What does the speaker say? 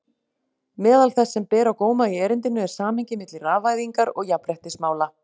Meðal þess sem ber á góma í erindinu er samhengið milli rafvæðingar og jafnréttismála.